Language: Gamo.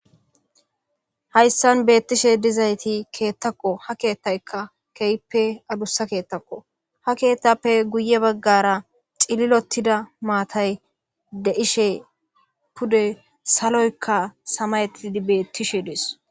Hayssan beettishe dizayti keettakko ha keettaykka keeyppe adussa keettakko ha keettappe guye baggara xililottida maatay deishe pude saloykka samaytidi beettishe dees.